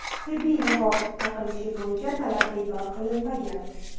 Tibbiy niqob taqilishi bo‘yicha talab bekor qilinmagan.